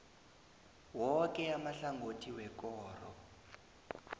woke amahlangothi wekoro